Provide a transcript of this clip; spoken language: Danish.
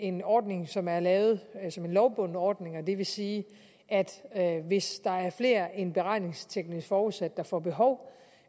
en ordning som er lavet som en lovbunden ordning det vil sige at hvis der er flere end beregningsteknisk forudsat der får behov